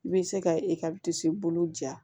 I bɛ se ka i ka disi bolo ja